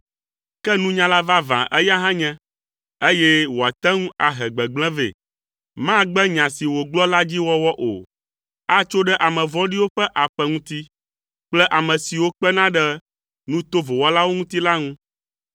Ke nunyala vavã eya hã nye, eye wòate ŋu ahe gbegblẽ vɛ. Magbe nya si wògblɔ la dzi wɔwɔ o. Atso ɖe ame vɔ̃ɖiwo ƒe aƒe ŋuti kple ame siwo kpena ɖe nu tovo wɔlawo ŋuti la ŋu.